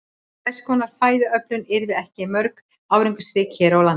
Þess konar fæðuöflun yrði ekki mjög árangursrík hér á landi.